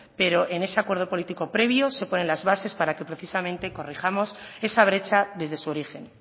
pero en ese acuerdo político previo se ponen las bases para que precisamente corrijamos esa brecha desde su origen